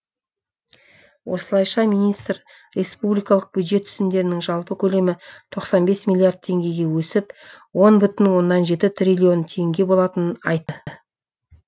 осылайша министр республикалық бюджет түсімдерінің жалпы көлемі тоқсан бес миллиард теңгеге өсіп он бүтін оннан жеті триллион теңге болатынын айтады